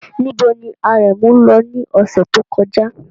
Níbo ni Aremu lọ ní ọ̀sẹ̀ tó kọjá?